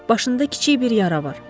Başında kiçik bir yara var.